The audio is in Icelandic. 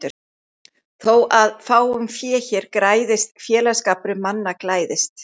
Þó að fáum fé hér græðist félagsskapur manna glæðist.